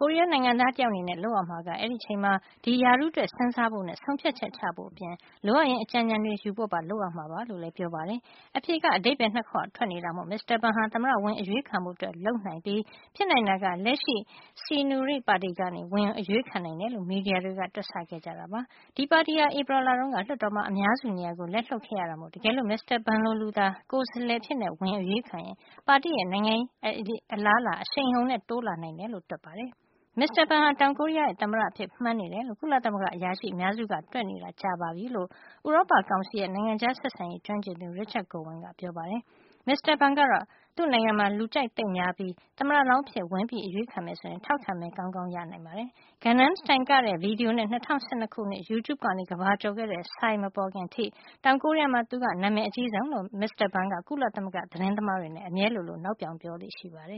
ကိုရီးယားနိုင်ငံသား တယောက် အနေနဲ့ လုပ်ရမှာက အဲဒီအချိန်မှာ ဒီရာထူးအတွက် စဉ်းစားဖို့နဲ့ ဆုံးဖြတ်ချက်ချဖို့ အပြင်၊ လိုအပ်ရင် အကြံဉာဏ်တွေယူဖို့ပါ လုပ်ရမှာပါ လို့လည်း ပြောပါတယ်။ အဖြေက အဓိပ္ပါယ် ၂ ခွထွက်နေတာမို့ မစ္စတာဘန်ဟာ သမ္မတဝင် အရွေးခံဖို့ လုပ်နိုင်ပြီး ဖြစ်နိုင်တာက လက်ရှိ Saenuri ပါတီကနေ ဝင်အရွေးခံနိုင်တယ်လို့ မီဒီယာတွေက တွက်ဆခဲ့ကြတာပါ။ဒီပါတီဟာ ဧပြီလတုန်းက လွှတ်တော်မှာ အများစုနေရာကို လက်လွှတ်ခဲ့ရတာမို့ တကယ်လို့ မစ္စတာဘန်လို လူသာ ကိုယ်စားလှယ်အဖြစ် ဝင်အရွေးခံရင် ပါတီရဲ့ နိုင်ငံရေးအလားအလာ အရှိန်အဟုန်နဲ့ တိုးတတ်လာနိုင် တယ်လို့ တွက်ပါတယ်။ မစ္စတာဘန်ဟာ တောင်ကိုရီးယား နိုင်ငံရဲ့ သမ္မတအဖြစ်ကို မှန်းနေတယ်လို့ ကုလသမဂ္ဂအရာရှိ အများစုက တွက်နေတာ ကြာပါပြီ လို့ ဥရောပကောင်စီရဲ့ နိုင်ငံခြားဆက်ဆံရေး ကျွမ်းကျင်သူ Richard Gowan ကပြောပါတယ်။ မစ္စတာဘန်ဟာ သူ့နိုင်ငံမှာ လူကြိုက်သိပ်များပြီး သမ္မတလောင်း အဖြစ် ဝင်အရွေးခံမယ် ဆိုရင် ထောက်ခံမဲ မဲကောင်းကောင်း ရနိုင်ပါတယ်။ Gangnam စတိုင်လ် ကတဲ့ ဗီဒီယိုနဲ့ ၂၀၁၂ ခုနှစ်မှာ YouTube ကနေ ကမ္ဘာကျော်ခဲ့တဲ့ Psy မပေါ်ခင်အထိ တောင်ကိုရီးယားမှာ သူက နာမည် အကြီးဆုံးလို့မစ္စတာဘန်က ကုလသမဂ္ဂ သတင်းသမားတွေနဲ့ အမြဲလိုလို နောက်ပြောင် ပြောလေ့ရှိပါတယ